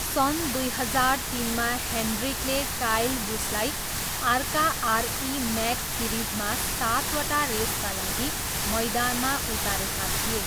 सन् दुई हजार तिनमा, हेन्ड्रिकले काइल बुसलाई आर्का आरई म्याक्स सिरिजमा सातवटा रेसका लागि मैदानमा उतारेका थिए।